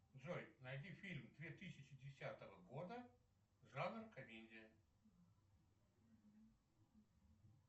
джой найди фильм две тысячи десятого года жанр комедия